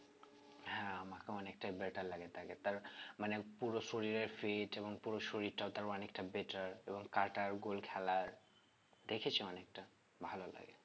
হ্যাঁ আমার অনেকটাই better লাগে তাকে তার মানে পুরো শরীরের fit এবং পুরো শরীরটাও তার অনেকটা better এবং দেখেছি অনেকটা ভালো লাগে